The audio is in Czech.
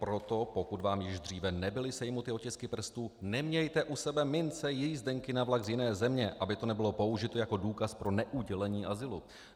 Proto pokud vám již dříve nebyly sejmuty otisky prstů, nemějte u sebe mince, jízdenky na vlak z jiné země, aby to nebylo použito jako důkaz pro neudělení azylu.